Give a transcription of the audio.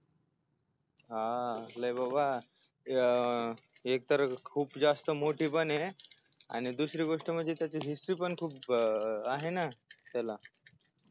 हा कसलाय बाबा अं एकतर खूप जास्त मोठी पणय आणि दुसरी गोष्ट म्हणजे त्याची history पण खूप अह आहे ना हो